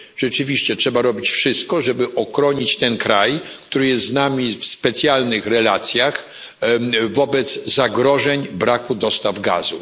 Rzeczywiście trzeba robić wszystko, żeby uchronić ten kraj, który jest z nami w specjalnych relacjach, przed zagrożeniem braku dostaw gazu.